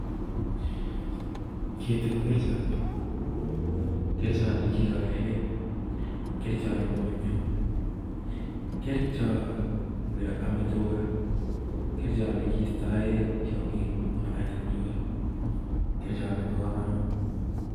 Keetii ko kerchoot ne ki goree gee ,ame tugaa ,istoii tiongik chemii moet ab tuga. Ni ko kerchoot nebo kamanuut.